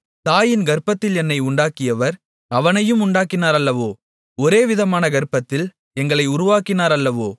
தாயின் கர்ப்பத்தில் என்னை உண்டாக்கியவர் அவனையும் உண்டாக்கினார் அல்லவோ ஒரேவிதமான கர்ப்பத்தில் எங்களை உருவாக்கினார் அல்லவோ